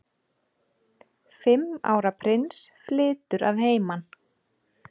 Fimm ára prins flytur að heiman